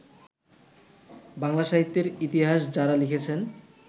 বাংলা সাহিত্যের ইতিহাস যাঁরা লিখেছেন